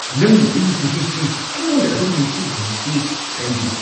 ꯅꯪꯅ ꯑꯩꯒꯤ ꯆꯍꯤꯁꯤ ꯑꯩꯉꯣꯟꯗ ꯑꯗꯨꯝ ꯅꯤꯡꯁꯤꯡꯍꯜꯂꯤꯁꯤ ꯀꯔꯤꯒꯤꯅꯣ?